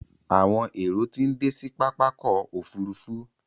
Àwọn èrò tí ń dé sí pápákọ̀ òfurufú.